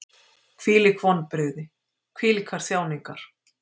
Hvílík vonbrigði, hvílíkar þjáningar!